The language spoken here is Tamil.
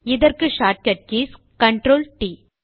இதற்கு ஷார்ட்கட் கீஸ் CTRLT